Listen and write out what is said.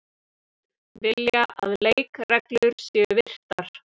Vilja að leikreglur séu virtar